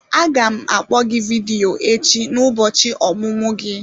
Aga m akpọ gị vidiyo echi n'ụbọchị ọmụmụ gị.